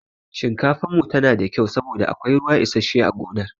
Shinkafan mu tsira da kyau saboda akwai ruwa isashshe a gonar.